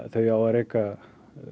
þau á að reka